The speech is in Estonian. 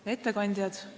Head ettekandjad!